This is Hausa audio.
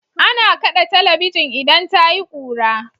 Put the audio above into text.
Ana kaɗe talabijin idan tayi kura.